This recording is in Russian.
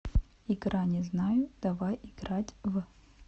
игра не знаю давай играть в